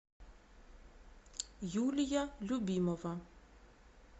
юлия любимова